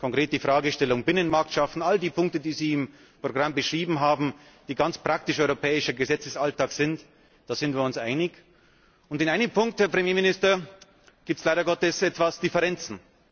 Konkret die Fragestellung Binnenmarkt schaffen all die Punkte, die Sie im Programm beschrieben haben, die ganz praktisch europäischer Gesetzesalltag sind, darin sind wir uns einig. In einem Punkt, Herr Ministerpräsident, gibt es leider Gottes etwas Differenzen.